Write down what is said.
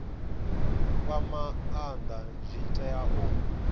fha maanda zwi tea u